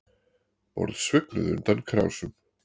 Borð svignuðu undan krásum